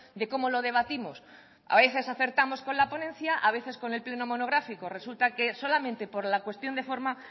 de cómo lo debatimos a veces acertamos con la ponencia a veces con el pleno monográfico resulta que solamente por la cuestión de forma